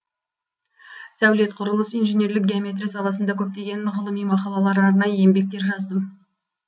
сәулет құрылыс инженерлік геометрия саласында көптеген ғылыми мақалалар арнайы еңбектер жаздым